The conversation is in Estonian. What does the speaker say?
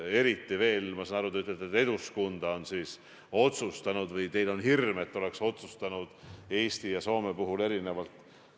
Eriti veel, nagu ma sain aru, te ütlesite, et Eduskunta on otsustanud või teil on hirm, nagu ta oleks otsustanud Eesti puhul erinevalt.